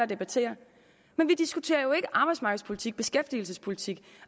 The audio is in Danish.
debatterer men vi diskuterer jo ikke arbejdsmarkedspolitik beskæftigelsespolitik